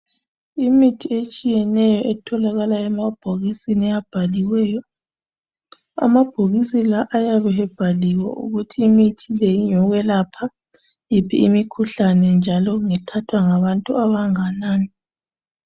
Imithi etshiyeneyo etholakala emabhokisini abhaliweyo amabhokisi la ayabe ebhaliwe ukuthi imithi le ngeyokwelapha iphi imikhuhlane njalo ngethathwa ngabantu abangakanani.